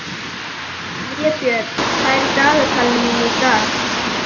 Vébjörn, hvað er í dagatalinu mínu í dag?